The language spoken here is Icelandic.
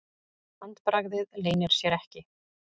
Handbragðið leynir sér ekki.